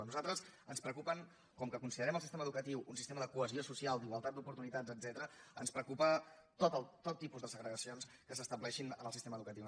a nosaltres com que considerem el sistema educatiu un sistema de cohesió social d’igualtat d’oportunitats etcètera ens preocupen tot tipus de segregacions que s’estableixin en el sistema educatiu